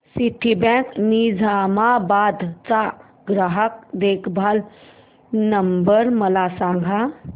Citibank Nizamabad चा ग्राहक देखभाल नंबर मला सांगा